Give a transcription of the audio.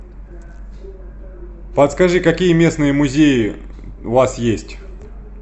подскажи какие местные музеи у вас есть